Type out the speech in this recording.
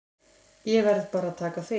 Ég verð bara að taka því.